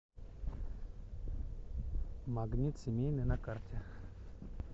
магнит семейный на карте